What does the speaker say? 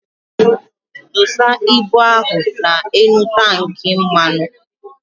Dosa ibụ ahụ na enu tank mmanu!